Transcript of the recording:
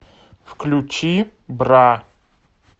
включи бра